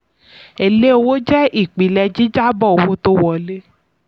èlé owó jẹ́ ìpìlẹ̀ jíjábọ̀ owó tí wọlé.